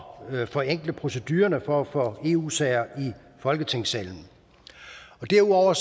at forenkle procedurerne for at få eu sager i folketingssalen derudover